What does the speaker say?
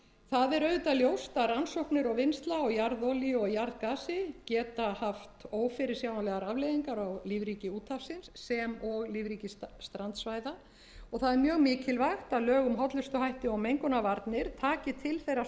það er auðvitað ljóst að rannsóknir og vinnsla á jarðolíu og jarðgasi geta haft ófyrirsjáanlegar afleiðingar á lífríki úthafsins sem og lífríki strandsvæða og það er mjög mikilvægt að lög um hollustuhætti og mengunarvarnir taki til þeirrar starfsemi sem hér